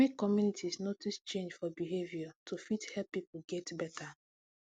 make communities notice change for behavior to fit help people get better